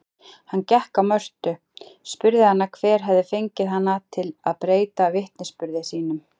Hann gekk á Mörtu, spurði hana hver hefði fengið hana til að breyta vitnisburði sínum.